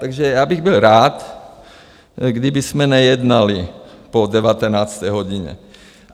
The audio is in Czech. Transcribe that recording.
Takže já bych byl rád, kdybychom nejednali po 19. hodině.